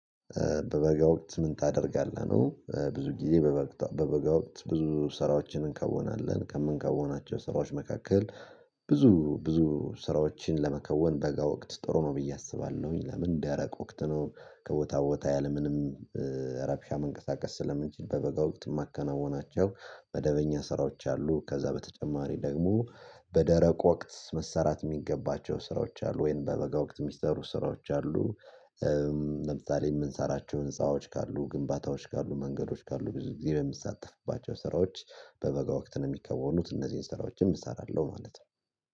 በበጋ ወቅት ምን ታደርጋለህ ነ፤ ብዙ ጊዜ በበ በበጋ ወቅት ብዙ ስራዎችን እንከወናለን፤ ከምንከወናቸው ስራዎች መካከል ብዙ ብዙ ስራዎችን ለመከወን በጋ ወቅት ጥሩ ነው ብዬ አስባለሁኝ፤ ለምን ደረቅ ወቅት ነው፤ ከቦታ ቦታ ያለምንም እረብሻ መንቀሳቀስ ስለምንችል በበጋ ወቅት ማከናወናቸው መደበኛ ስራዎች አሉ። ከዛ በተጨማሪ ደግሞ በደረቅ ወቅት መሰራት የሚገባቸው ስራዎች አሉ ወይም በበጋ ወቅት ሚስጥሩ ስራዎች አሉ ለምሳሌ የምንሰራቸው ህንፃዎች ካሉ፣ ግንባታዎች ካሉ፣ መንገዶች ካሉ ብዙ ጊዜ በሚሳተፍባቸው ስራዎች በበጋ ወቅት ነው የሚከወኑት፤ እነዚህን ስራዎችን እሰራለሁ ማለት ነው።